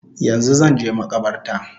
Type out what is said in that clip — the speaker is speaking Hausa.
Yanzu zanje makabarta